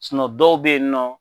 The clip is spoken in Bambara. Sunɔ dɔw be yen nɔ